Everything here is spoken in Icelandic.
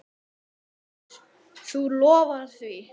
Magnús: Þú lofar því?